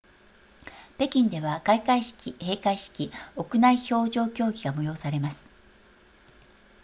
北京では開会式閉会式屋内氷上競技が催されます